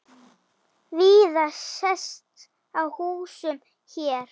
Víða sést á húsum hér.